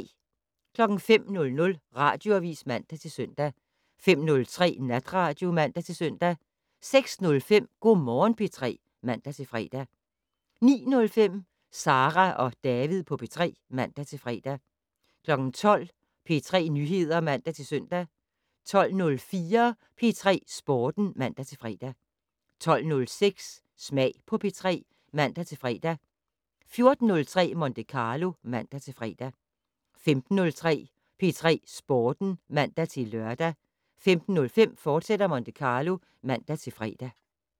05:00: Radioavis (man-søn) 05:03: Natradio (man-søn) 06:05: Go' Morgen P3 (man-fre) 09:05: Sara og David på P3 (man-fre) 12:00: P3 Nyheder (man-søn) 12:04: P3 Sporten (man-fre) 12:06: Smag på P3 (man-fre) 14:03: Monte Carlo (man-fre) 15:03: P3 Sporten (man-lør) 15:05: Monte Carlo, fortsat (man-fre)